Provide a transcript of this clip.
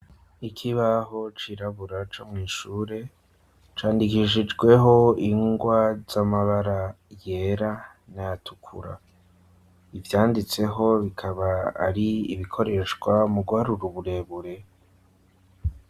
Ikibaho cirabura co mw'ishure, candikishijweho ingwa z'amabara yera n'ayatukura, ivyanditseho bikaba ari ibikoreshwa mu guharura uburebure.